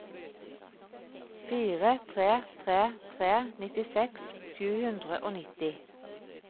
fire tre tre tre nittiseks sju hundre og nitti